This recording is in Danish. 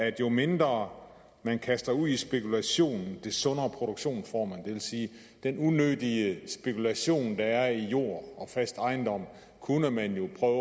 at jo mindre man kaster ud i spekulation des sundere produktion får man det vil sige at den unødige spekulation der er i jord og fast ejendom kunne man jo prøve